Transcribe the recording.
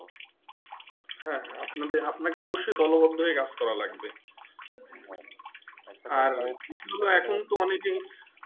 হ্যাঁ হ্যাঁ আপনা কে অবশ্যই দলবদ্ধ হয়ে কাজ করা লাগবে আর বিস্নয় এখন তো অনেকে